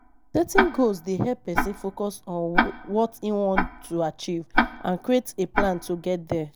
Setting goals dey help pesin focus on what im want to achieve and create a plan to get there.